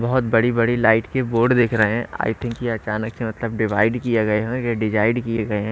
बहुत बड़ी-बड़ी लाइट के बोर्ड दिख रहे हैं आई थिंक ये अचानक से मतलब डिवाइड किए गए हैं ये डिवाइड किए गए हैं।